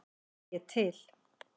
Er ég til?